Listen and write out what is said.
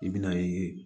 I bɛ na ye